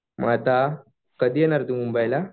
मग आता कधी येणार आहे तू मुंबईला.